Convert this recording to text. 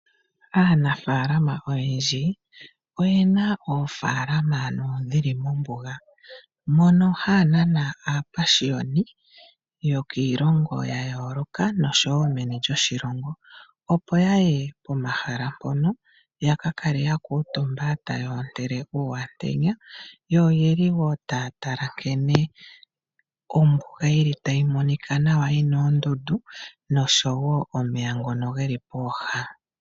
Aanafaalama oyendji oye na oofaalama dhi li mombuga, mono haya nana aapashiyoni yokiilongo ya yooloka nosho wo meni lyoshilongo opo ya ye pomahala mpono, ya ka kale ya kuutumba taya ontele uuyantenya, yo oye li wo taya tala nkene ombuga yi li tayi monika nawa yi na oondundu nosho wo omeya ngono ge li pooha.